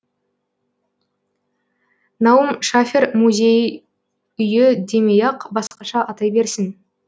наум шафер мүзей үйі демей ақ басқаша атай берсін